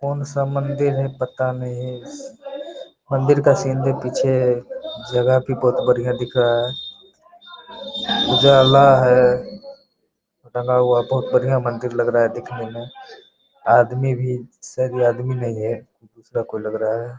कौन सा मंदिर है पता नहीं मंदिर का सीन-तीन पीछे जगह की बहुत बढ़िया दिख रहा है उजाला है बहुत बढ़िया मंदिर लग रहा है देखने में आदमी भी शायद ये आदमी नही है दूसरा कोई लग रहा है।